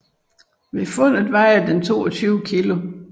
Ved fundet vejede den 22 kilo